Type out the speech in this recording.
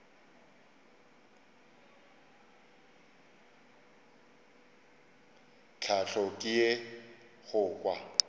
tlhahlo ke ye go kwa